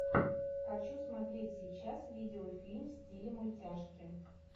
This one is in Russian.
хочу смотреть сейчас видео фильм в стиле мультяшки